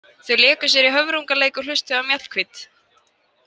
Þau léku sér í höfrungaleik og hlustuðu á Mjallhvít.